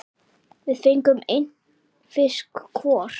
Við fengum einn fisk hvor.